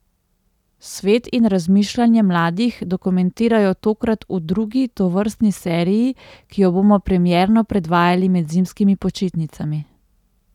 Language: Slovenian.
Svet in razmišljanje mladih dokumentirajo tokrat v drugi tovrstni seriji, ki jo bomo premierno predvajali med zimskimi počitnicami.